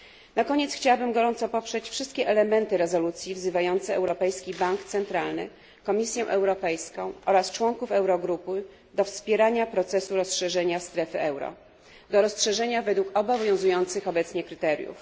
Na koniec chciałabym gorąco poprzeć wszystkie elementy rezolucji wzywające Europejski Bank Centralny, Komisję Europejską oraz członków Eurogrupy do wspierania procesu rozszerzenia strefy euro, do rozszerzenia według obowiązujących obecnie kryteriów.